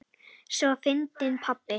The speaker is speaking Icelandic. Svo fyndinn pabbi!